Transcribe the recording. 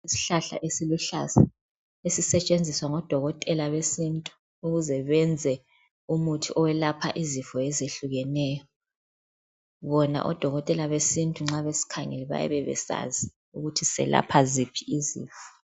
Isihlahla esiluhlaza ezisetshenziswa ngodokotela besintu ukuze benze umuthi oyelapha izifo ezehlukuneyo, bona odokotela besintu nxa besikhangele bayabe besazi ukuthi selapha ziphi izifo.